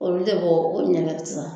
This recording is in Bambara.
Olu tɛ bɔ o ɲɛgɛn sisan